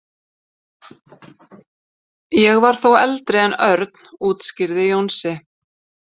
Ég var þó eldri en Örn útskýrði Jónsi.